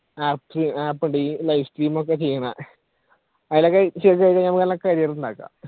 apps, , daily live stream ഒക്കെ ചെയ്യണ അതിലൊക്കെ ചെയ്തു കഴിഞ്ഞ നമ്മുക്ക് നല്ല career ഉണ്ടാക്കാം